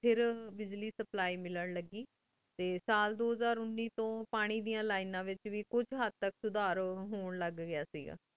ਫਿਰ ਬ੍ਜ੍ਲੀ ਸਪਲਾਈ ਮਿਲਣ ਲਾਗੀ ਟੀ ਸਾਲ ਦੋ ਹਜ਼ਾਰ ਉਨੀ ਤੂੰ ਪਾਨਿਦੇਯਾਂ ਲਿਨੇਨਾ ਵੇਚ ਵੇ ਕਹੀ ਹੇਠ ਤਕ ਸੁਦਰ ਹੁਣ ਲਗ ਗਯਾ ਸੇ ਗਾ